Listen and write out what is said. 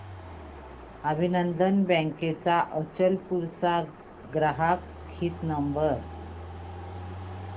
अभिनंदन बँक अचलपूर चा ग्राहक हित नंबर